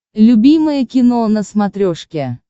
любимое кино на смотрешке